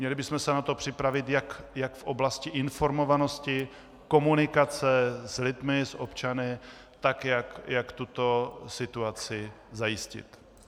Měli bychom se na to připravit jak v oblasti informovanosti, komunikace s lidmi, s občany, tak jak tuto situaci zajistit.